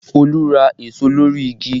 Olú ra èso lórí igi